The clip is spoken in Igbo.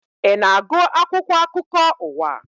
Ị na-agụ akwụkwọ akụkọ ụwa?